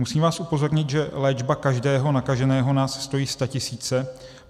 Musím vás upozornit, že léčba každého nakaženého nás stojí statisíce.